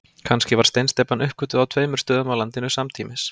Kannski var steinsteypan uppgötvuð á tveimur stöðum á landinu samtímis.